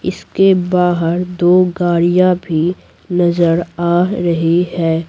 इसके बाहर दो गाड़ियाँ भी नजर आ रही हैं।